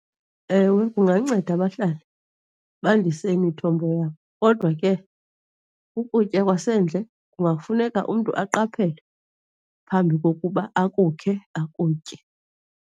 Ewe, kunganceda abahlali bandise imithombo yabo kodwa ke ukutya kwasendle kungafuneka umntu aqaphele phambi kokuba akukhe akutye.